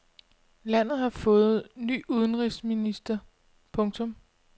Landet har fået ny udenrigsminister. punktum